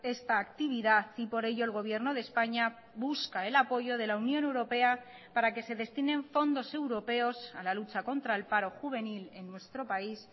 esta actividad y por ello el gobierno de españa busca el apoyo de la unión europea para que se destinen fondos europeos a la lucha contra el paro juvenil en nuestro país